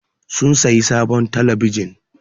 Sun sayi sabon telebijin.